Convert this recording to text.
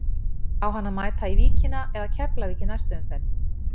Á hann að mæta í Víkina eða Keflavík í næstu umferð?